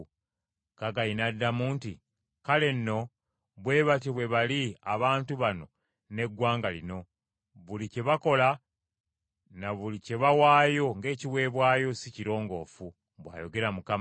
Kaggayi n’addamu nti, “Kale nno bwe batyo bwe bali abantu bano n’eggwanga lino. Buli kye bakola ne buli kye bawaayo ng’ekiweebwayo, si kirongoofu,” bw’ayogera Mukama .